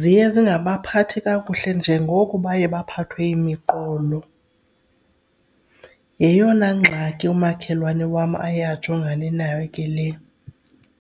ziye zingabaphathi kakuhle njengoko baye baphathwe yimiqolo. Yeyona ngxaki umakhelwane wam aye ajongane nayo ke le.